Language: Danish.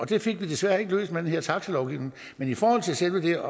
det fik vi desværre ikke løst med den her taxilovgivning men i forhold til selve